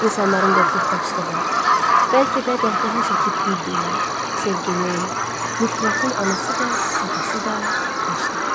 İnsanların qorxub qaçdığı, bəlkə də qəhqəhə çəkib güldüyü, sevginin, nifrətin anası da, atası da vicdan.